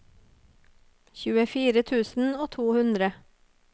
tjuefire tusen og to hundre